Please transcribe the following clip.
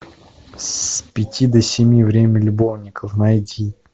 с пяти до семи время любовников найди